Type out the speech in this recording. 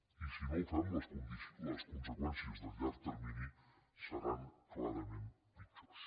i si no ho fem les conseqüències del llarg termini seran clarament pitjors